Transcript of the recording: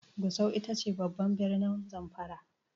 Gusau ita ce babban birnin Zamfara.